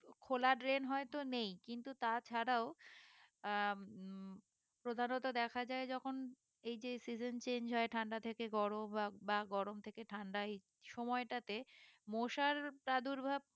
খোলা drain হয়তো নেই কিন্তু তা ছাড়াও আহ উম প্রধানত দেখা যায় যখন এই যে season change হয়ে ঠান্ডা থেকে গরম বা গরম থেকে ঠাণ্ডাই সময়টাতে মশার প্রাদুর্ভাব